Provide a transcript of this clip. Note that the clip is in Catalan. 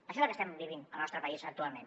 això és el que estem vivint al nostre país actualment